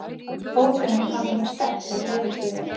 fótunum hafði hún sterkleg leðurstígvél.